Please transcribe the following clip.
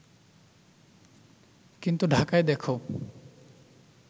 কিন্তু ঢাকায় দেখো